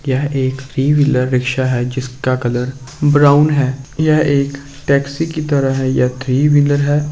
यह एक three wheeler रिक्शा है जिसका कलर ब्राउन है। यह एक टैक्सी की तरह है। यह थ्री वीलर है।